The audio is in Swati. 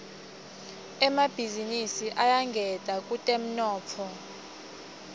emabhizinisi ayangeta kutemnotfo